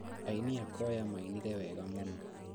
Aini a kwaya mainire wega mũno